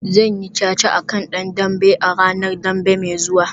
Zan yi caca a kan dan dambe a ranar Dambe mai zuwa